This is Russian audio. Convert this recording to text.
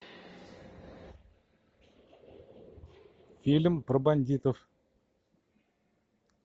фильм про бандитов